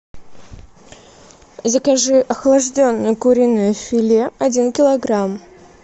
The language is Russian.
закажи охлажденное куриное филе один килограмм